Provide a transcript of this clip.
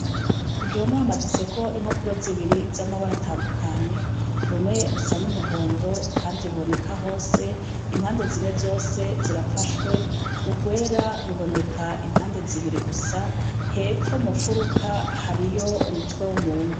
Ku gihome hamaditseko impapuro zibiri z'amabara atandukanye, rumwe rusa n'umuhondo kandi ruboneka hose impande zine zose zirafashwe, urwera ruboneka impande zibiri gusa, hepfo mu mfuruka hariyo umutwe w'umuntu.